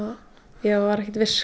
ég var ekkert viss